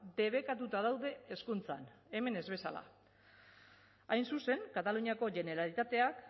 debekatuta daude hezkuntzan hemen ez bezala hain zuzen kataluniako generalitateak